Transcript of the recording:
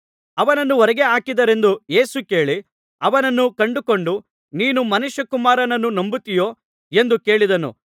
ಅವನನ್ನು ಹೊರಗೆ ಹಾಕಿದರೆಂದು ಯೇಸು ಕೇಳಿ ಅವನನ್ನು ಕಂಡುಕೊಂಡು ನೀನು ಮನುಷ್ಯಕುಮಾರನನ್ನು ನಂಬುತ್ತೀಯೋ ಎಂದು ಕೇಳಿದನು